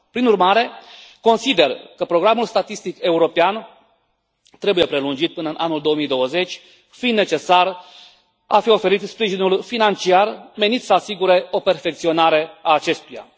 Prin urmare, consider că programul statistic european trebuie prelungit până în anul 2020, fiind necesar a fi oferit sprijinul financiar menit să asigure o perfecționare a acestuia.